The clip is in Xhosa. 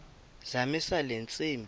zamisa le ntsimbi